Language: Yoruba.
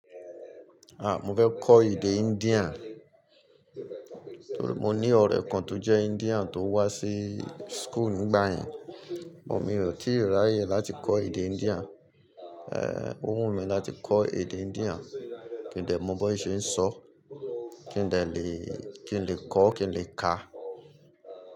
Mo fẹ́ kọ́ èdè Indian, mo ní ọ̀rẹ́ kan tó jẹ́ Indian tó wá sí school nígbà yẹn, mio ti ráyè láti kọ́ èdè Indian, ó wù mí láti kọ́ èdè Indian kin dẹ̀ mọ bí wọ́n ṣe ń sọ, kin lè kọ kin lè kà.